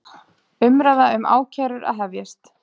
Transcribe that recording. Umræða um ákærur að hefjast